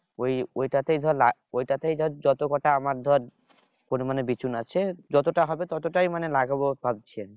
ওই ওইটাতে ধর ওই ওইটাতে ধর যত কটা আমার ধর পরিমানে বিচন আছে যতটা হবে ততটাই মানে লাগাবো ভাবছিলাম